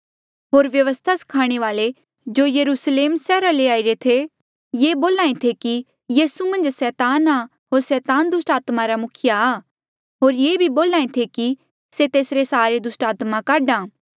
होर व्यवस्था स्खाणे वाल्ऐ जो यरुस्लेम सैहरा ले आईरे थे ये बोल्हा ऐें थे कि यीसू मन्झ सैतान आ होर सैतान दुस्टात्मा रा मुखिया आ होर ये भी बोल्हा ऐें थे कि से तेसरे सहारे दुस्टात्मा काढा आ